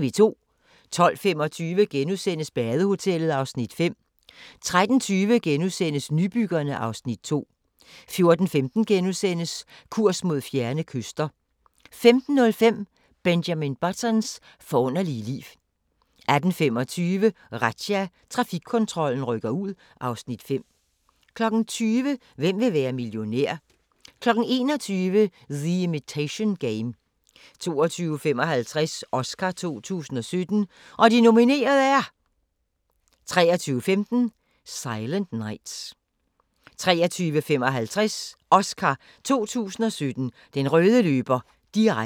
12:25: Badehotellet (Afs. 5)* 13:20: Nybyggerne (Afs. 2)* 14:15: Kurs mod fjerne kyster * 15:05: Benjamin Buttons forunderlige liv 18:25: Razzia – Trafikkontrollen rykker ud (Afs. 5) 20:00: Hvem vil være millionær? 21:00: The Imitation Game 22:55: Oscar 2017: Og de nominerede er ... 23:15: Silent Nights 23:55: Oscar 2017: Den røde løber – direkte